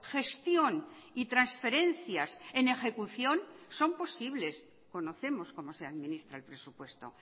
gestión y transferencias en ejecución son posibles conocemos como se administra el presupuesto